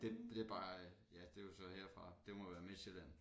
Det det bare ja det jo så herfra det må være Midtsjælland